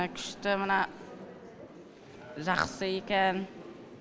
күшті мына жақсы екен